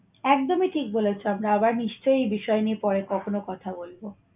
একদমই ঠিক বলেছ। আমরা আবার নিশ্চয়ই এই বিষয় নিয়ে পরে কখন কথা বলবো।